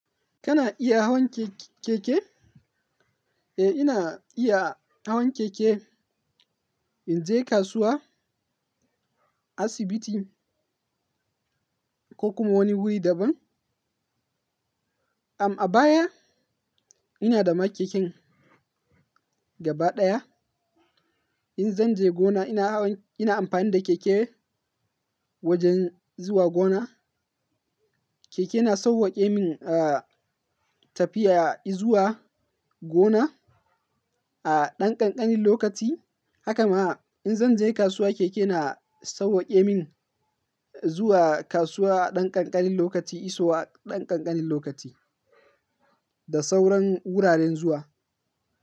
Kana iya hawan keke? Eh, ina iya hawan keke. In je kasuwa, asibiti ko kuma wani wuri daban. Am, a baya ina da ma keken gaba ɗaya. In zan je gona ina hawan-- ina amfani da keke wajen zuwa gona. Keke na sauwaƙe min, tafiya izuwa gona a ɗan ƙanƙanin lokaci. Hakama in zan je kasuwa, keke na sawwaƙe min zuwa kasuwa a ɗan ƙanƙanin lokaci, iso a ɗan ƙanƙanin lokaci da sauran wuraren zuwa.